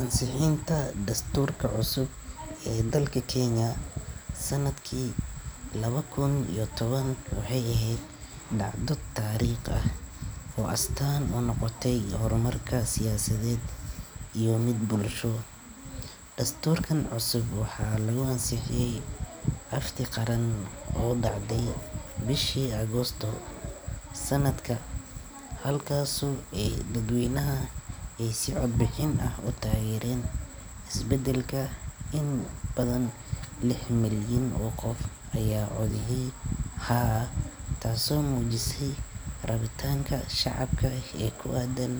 Ansixinta dastuurka cusub ee dalka Kenya sanadkii laba kun iyo toban waxay ahayd dhacdo taariikhi ah oo astaan u noqotay horumar siyaasadeed iyo mid bulsho. Dastuurkan cusub waxaa lagu ansixiyay afti qaran oo dhacday bishii Agoosto ee sanadkaa, halkaasoo dadweynaha ay si cod bixin ah u taageereen isbeddelka. In ka badan lix milyan oo qof ayaa u codeeyay haa, taasoo muujisay rabitaanka shacabka ee ku aaddan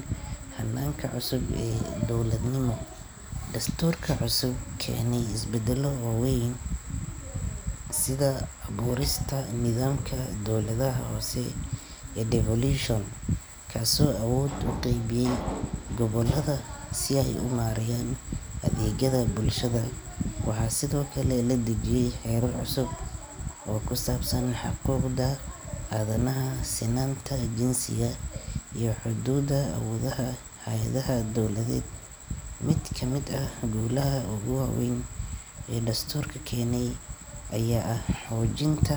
hannaanka cusub ee dowladnimo. Dastuurka cusub wuxuu keenay isbeddello waaweyn sida abuurista nidaamka dowladaha hoose ee devolution, kaasoo awoodda u qeybiyay gobollada si ay u maareeyaan adeegyada bulshada. Waxaa sidoo kale la dejiyay xeerar cusub oo ku saabsan xuquuqda aadanaha, sinnaanta jinsiga, iyo xuduudda awoodaha hay’adaha dowladeed. Mid ka mid ah guulaha ugu waaweyn ee dastuurkaasi keenay ayaa ah xoojinta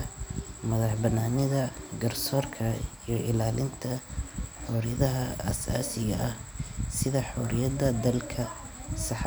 madax-bannaanida garsoorka iyo ilaalinta xorriyadaha aasaasiga ah sida xoriyadda hadalka, saxaafadda.